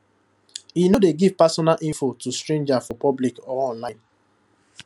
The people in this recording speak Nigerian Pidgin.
e no dey give personal info to stranger for public or online